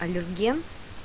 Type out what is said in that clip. аллерген